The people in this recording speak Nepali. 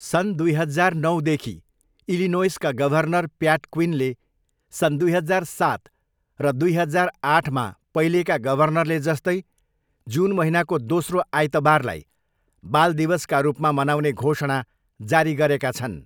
सन् दुई हजार नौदेखि, इलिनोइसका गभर्नर प्याट क्विनले सन् दुई हजार सात र दुई हजार आठमा पहिलेका गभर्नरले जस्तै जुन महिनाको दोस्रो आइतबारलाई बाल दिवसका रूपमा मनाउने घोषणा जारी गरेका छन्।